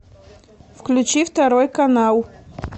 включи второй канал